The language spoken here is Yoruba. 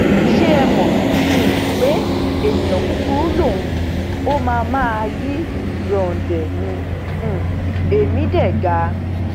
ṣé ẹ mọ um pé èèyàn kúkúrú lòun ó máa máa yí ròǹdè ní um ẹmí dé ga